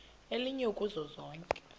elinye kuzo zonke